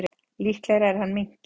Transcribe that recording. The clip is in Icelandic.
Líklegra er að hann minnki.